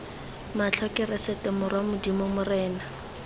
matlho keresete morwa modimo morena